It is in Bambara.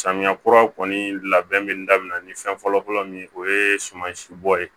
Samiya kura kɔni labɛn bɛ daminɛ ni fɛn fɔlɔfɔlɔ min o ye sumansi bɔ ye